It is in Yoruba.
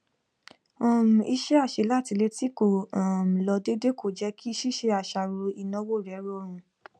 um iṣẹ àṣelátilé tí kò um lọ déédéé kò jẹ kí ṣíṣe àṣàrò ìnáwó rẹ rọrùn